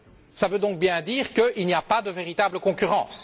Cela veut donc bien dire qu'il n'y a pas de véritable concurrence.